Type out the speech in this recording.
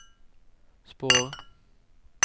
spår